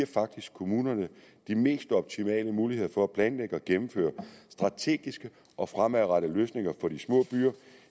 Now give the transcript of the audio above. faktisk kommunerne de mest optimale muligheder for at planlægge og gennemføre strategiske og fremadrettede løsninger for de små byer